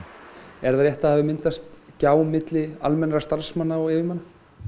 er það rétt að það hafi myndast gjá milli almennra starfsmanna og yfirmanna